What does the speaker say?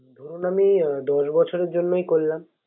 ধরুন আমি দশ বছরের জন্যই করলাম